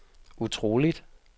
utroligt